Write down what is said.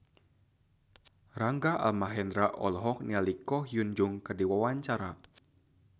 Rangga Almahendra olohok ningali Ko Hyun Jung keur diwawancara